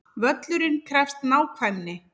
Völlurinn krefst nákvæmni